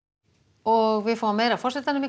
og við sjáum meira af forsetanum í